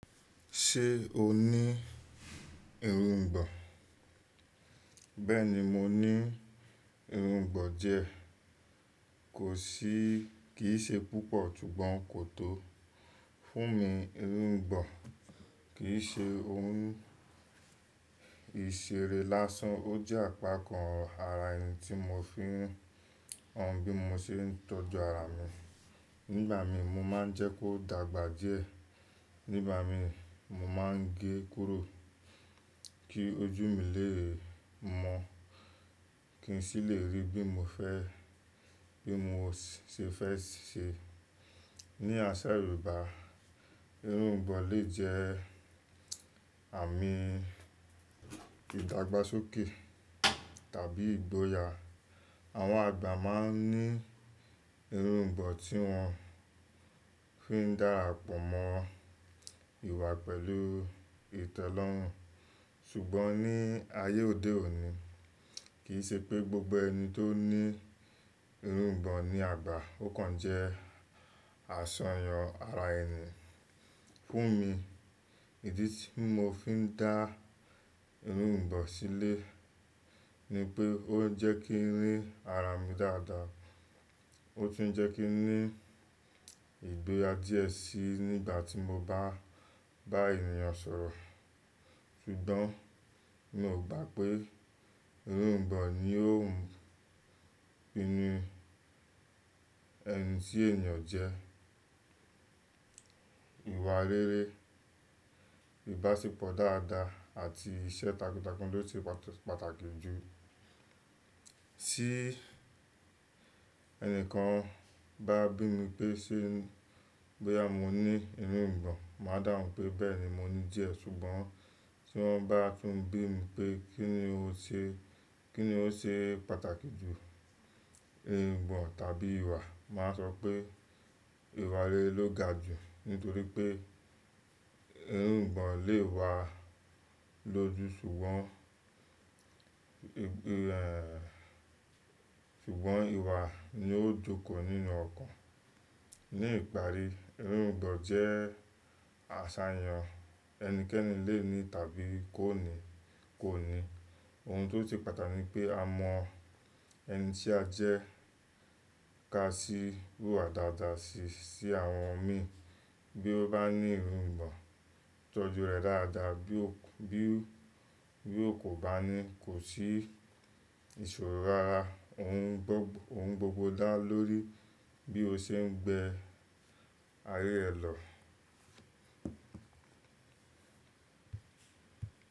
Ṣé o ní irùngbọ̀n? Bẹ́ẹ̀ni mo ní irùngbọ̀n diẹ Kò sí, kì í ṣe púpọ̀ tún gbọ́n kò tó. Fún mi, irùngbọ̀n kì í ṣe ohun ìṣeré lásán, ó jẹ́ àpakàn ara ẹni tí mo fi han bí mo ṣe ń tọ́jú ara mi. Nígbà mi mo má ń jẹ́ kó dàgbà díẹ̀. Nígbà mìí mo má ń gé e kúrò kí ojú mi lè mọ́, kí n sì lè rí bí mo fẹ́, bí mo ṣe fẹ́ ṣe. Ni àsà Yorùbá, irùngbọ̀n lè jẹ́ àmì ìdàgbàsókè tàbí ìgboyà. Àwọn àgbà má ń ní irùngbọ̀n tí wọ́n fi ń darapọ̀ mọ́ ìwà pẹ̀lú ìtẹ́lọ́rùn. Ṣùgbọ́n ní ayé òde òní, kì í ṣe pé gbogbo ẹni tó ní irùngbọ̀n ni àgbà. Ó kan jẹ́ àṣàyàn ara ẹni. Fún mi, ìdí tí mo fi ń dá irùngbọ̀n sílẹ̀ ni pé ó jẹ́ kí rí ara mi dáadáa. Ó tún jẹ́ kí n ní ìgboyà díẹ̀ sí i nígbà tí mo bá bá ènìyàn sọ̀rọ̀. Ṣùgbọ́n mi ò gbà pé irùngbọ̀n ni ó pinu ẹni tí ènìyàn jẹ́. Ìwà rere, ìbáṣepọ̀ dáadáa àti iṣẹ́ takuntakun ló ṣe pàtàkì jù. Tí ẹni kan bá bí mi pé ṣe bóyá mo ní irùngbọ̀n, màá dàhùn pé bẹ́ẹ̀ni mo ní dìé. Ṣùgbọ́n tí wọ́n bá tún bí mi pé kí ni o ṣe, kí ni ó ṣe pàtàkì jù, irùngbọ̀n tàbí ìwà, màá sọ pé ìwà rere ló ga jù. Nítorí pé irùngbọ̀n lè wá lójú ṣùgbọ́n, ẹ, ṣùgbọ́n ìwà ni ó jókòó nínú ọkàn. Ní ìparí, irùngbọ̀n jẹ́ àṣàyàn ẹnikẹ́ni lè ní tàbí kò ní, kò ní. Ohun tó ṣe pàtàkì ni pé a mọ ẹni tí a jẹ́ ká sí ìhùwà dáadáa sí, sí àwọn mi. Bí ó bá ní irǔngbọ̀n tọ́jú rẹ̀ dáadáa, bí ó, bí, bí ó kò bá ní, kò sí ìṣòro rárá. Ohun gbogbo, ohun gbogbo dá lórí bí o ṣe ń gbé ayé rẹ lọ.